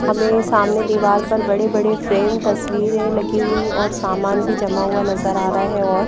हमे सामने दीवार पर बड़े बड़े फ्रेम तस्वीरे लगी हुई और सामान भी जमा हुआ नजर आ रहा है और--